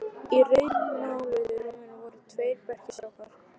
Í rauðmáluðu rúminu voru tveir berir strákar.